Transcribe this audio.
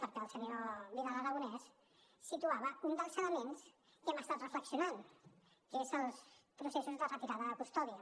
perquè el senyor vidal aragonés situava un dels elements sobre els quals hem estat reflexionant que són els processos de retirada de custòdia